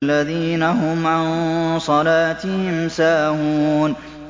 الَّذِينَ هُمْ عَن صَلَاتِهِمْ سَاهُونَ